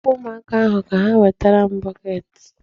Hapụ ụmụaka ahụ ka ha wetara m bọket.